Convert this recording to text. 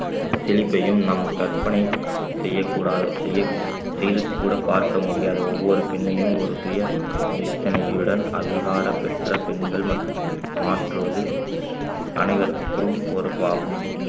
செழிப்பையும் நம் கற்பனை செய்யக் கூடா செய்~ செய்து கூட பார்க்க முடியாத ஒவ்வொரு பெண்ணையும் ஒரு சுய சித்தனையுடன் அதிகாரம் பெற்ற பெண்கள் மற்~ மாற்றுவது அனைவருக்கும் பொறுப்பாகும்